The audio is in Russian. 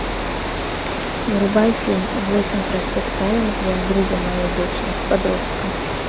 врубай фильм восемь простых правил для друга моей дочери подростка